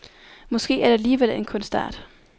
Måske er det alligevel en kunstart?